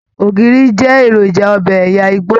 Ògiri jẹ èròjà ọbẹ ẹyà igbó.